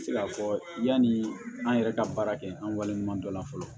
Se k'a fɔ yani an yɛrɛ ka baara kɛ an waleɲuman dɔ la fɔlɔ